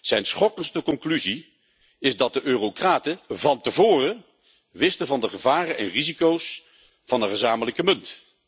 Zijn schokkendste conclusie is dat de eurocraten van tevoren wisten van de gevaren en risico's van een gezamenlijke munt.